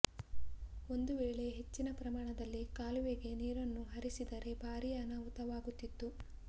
ಒಂದು ವೇಳೆ ಹೆಚ್ಚಿನ ಪ್ರಮಾಣದಲ್ಲಿ ಕಾಲುವೆಗೆ ನೀರನ್ನು ಹರಿಸಿದರೆ ಭಾರೀ ಅನಾಹುತವಾಗುತಿತ್ತು